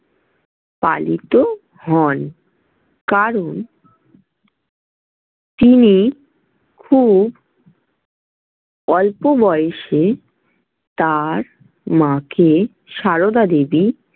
পালিত হন। কারণ তিনি খুব অল্প বয়সে তাঁর মাকে, সারদা দেবী।